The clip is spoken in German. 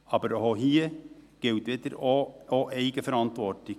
Aber auch hier gilt die Eigenverantwortung.